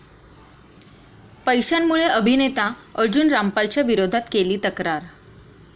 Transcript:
पैशांमुळे अभिनेता अर्जुन रामपालच्या विरोधात केली तक्रार